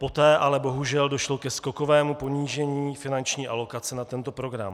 Poté ale bohužel došlo ke skokovému ponížení finanční alokace na tento program.